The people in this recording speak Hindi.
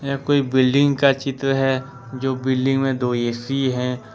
यह कोई बिल्डिंग का चित्र है जो बिल्डिंग में दो ए_सी है।